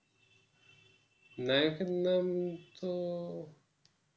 নায়কের নাম তো